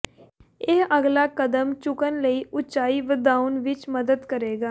ਇਹ ਅਗਲਾ ਕਦਮ ਚੁੱਕਣ ਲਈ ਉਚਾਈ ਵਧਾਉਣ ਵਿੱਚ ਮਦਦ ਕਰੇਗਾ